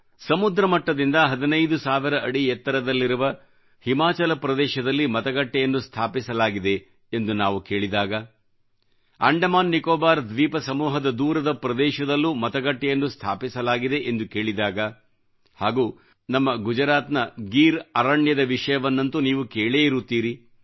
ಸಮುದ್ರ ಮಟ್ಟದಿಂದ 15 ಸಾವಿರ ಅಡಿ ಎತ್ತರದಲ್ಲಿರುವ ಹಿಮಾಚಲ ಪ್ರದೇಶದಲ್ಲಿ ಮತಗಟ್ಟೆಯನ್ನು ಸ್ಥಾಪಿಸಲಾಗಿದೆ ಎಂದು ನಾವು ಕೇಳಿದಾಗ ಅಂಡಮಾನ್ ನಿಕೋಬಾರ್ ದ್ವೀಪ ಸಮೂಹದ ದೂರದ ಪ್ರದೇಶದಲ್ಲೂ ಮತಗಟ್ಟೆಯನ್ನು ಸ್ಥಾಪಿಸಲಾಗಿದೆ ಎಂದು ಕೇಳಿದಾಗ ಹಾಗೂ ನಮ್ಮಗುಜರಾತಿನ ಗಿರ್ ಅರಣ್ಯದ ವಿಷಯವನ್ನಂತೂ ನೀವು ಕೇಳೇ ಇರುತ್ತೀರಿ